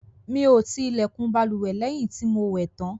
Mí o ti ilẹkùn bálùwẹ̀ lẹ́yìn tí o mo wẹ̀ tàn